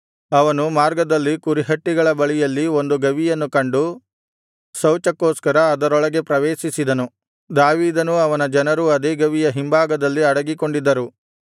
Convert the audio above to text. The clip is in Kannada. ಅವನು ಮಾರ್ಗದಲ್ಲಿ ಕುರಿಹಟ್ಟಿಗಳ ಬಳಿಯಲ್ಲಿ ಒಂದು ಗವಿಯನ್ನು ಕಂಡು ಶೌಚಕ್ಕೋಸ್ಕರ ಅದರೊಳಗೆ ಪ್ರವೇಶಿಸಿದನು ದಾವೀದನೂ ಅವನ ಜನರೂ ಅದೇ ಗವಿಯ ಹಿಂಭಾಗದಲ್ಲಿ ಅಡಗಿಕೊಂಡಿದ್ದರು